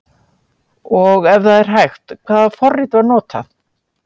Og ef það er hægt, hvaða forrit var notað?